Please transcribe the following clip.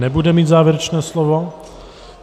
Nebude mít závěrečné slovo.